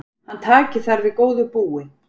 Hann taki þar við góðu búi.